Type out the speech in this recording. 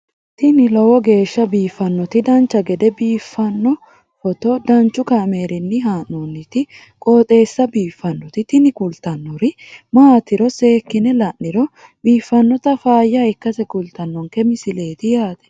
tini lowo geeshsha biiffannoti dancha gede biiffanno footo danchu kaameerinni haa'noonniti qooxeessa biiffannoti tini kultannori maatiro seekkine la'niro biiffannota faayya ikkase kultannoke misileeti yaate